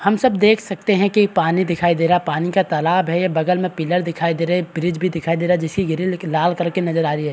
हम सब देख सकते है कि पानी दिखाई दे रहा है पानी का तालाब है ये बगल में पिलर दिखाई दे रहे है ब्रिज भी दिखाई दे रहे है जैसे ग्रिल लाल कलर की नजर आ रही है।